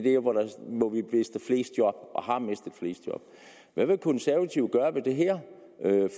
mister flest job og har mistet flest job hvad vil konservative gøre ved det her